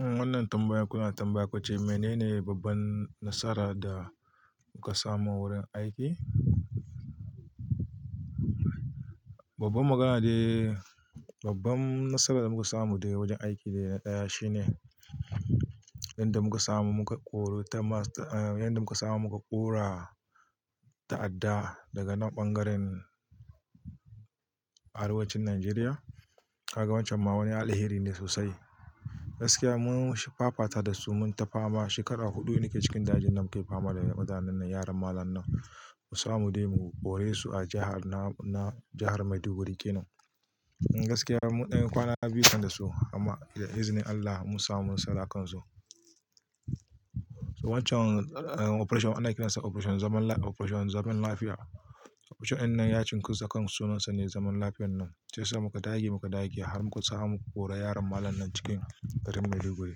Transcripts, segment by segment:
Wannan tambayar kuna tambaya kuce, menene babban nasara da kuka samu wurin aiki? Babban magana dai. Babban nasarar da muka samu daga wajen aiki daya shine, yanda muka samu muka ƙuru ta masu, yanda muka samu muka ƙora ta'adda daga nan ɓangaren arewacin Najeriya. Kaga wancan ma wani alheri ne sosai. Gaskiya mun fafata dasu mun tafa ma shekara huɗu nake cikin dajin nan muke fama da mutanen nan yaran mallam nan. Mu samu dai mu koresu a jahar na jahar Maiduguri kenan. Gaskiya mun ɗan kwana biyu kan dasu amma da izinin Allah mun samu nasarar kansu. To wancan Operation ana kiransa Operation zaman lafiya. Operation ɗinnan ya cinkos akan sunansa ne zaman lafiyan nan. Shiyasa muka dage muka dage har muka samu muka kori yaran mallam nan cikin garin Maiduguri.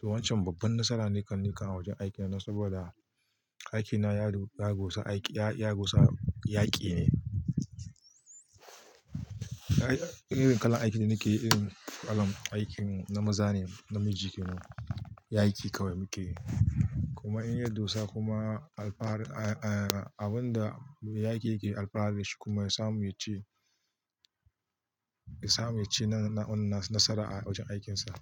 To wancan babban nasara ne kan nikan a wajen aiki na saboda aikina ya duka gusa aiki, ya gusa yaƙi ne. Irin kalar aikin da nake yi irin kalar aikin na maza ne, namiji kenan. Yaƙi kawai muke yi. Kuma inya dusa kuma alfarin, abunda yaƙi yake alfara dashi kuma ya samu yaci, ya samu yaci na unna nasara a wajen aikinsa.